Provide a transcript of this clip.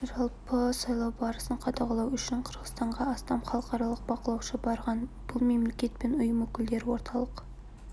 жалпы сайлау барысын қадағалау үшін қырғызстанға астам халықаралық бақылаушы барған бұл мемлекет пен ұйым өкілдері орталық